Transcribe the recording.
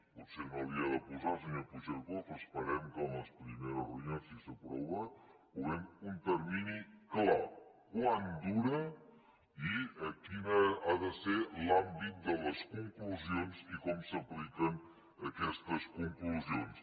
potser no n’hi ha de posar senyor puigcercós però esperem que en les primeres reunions si s’aprova hi posem un termini clar quant dura i quin ha de ser l’àmbit de les conclusions i com s’apliquen aquestes conclusions